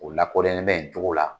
O lakodɔnyalen bɛ ni cogo la